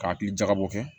K'a hakili jagabɔ kɛ